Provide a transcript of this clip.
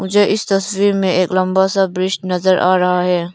मुझे इस तस्वीर में एक लंबा सा ब्रिज नजर आ रहा है।